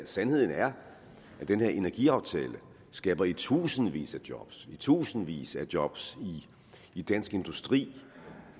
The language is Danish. sandheden er at den her energiaftale skaber i tusindvis af job i tusindvis af job i dansk industri